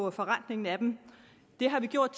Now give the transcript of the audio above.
og forrentningen af dem det har vi gjort